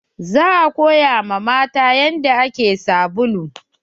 Za a koya wa matan yanda ake sabulu